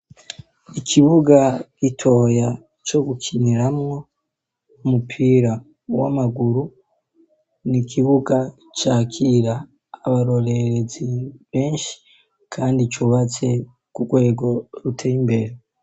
Ikibuga gitoya co gukiniramwo umupira w'amaguru. Ni ikibuga cakira abarorerezi benshi kandi cubatse ku rwego ruteye imbere.